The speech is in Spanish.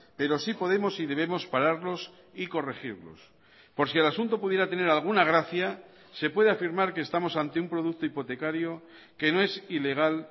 pero sí podemos y debemos pararlos y corregirlos por si el asunto pudiera tener alguna gracia se puede afirmar que estamos ante un producto hipotecario que no es ilegal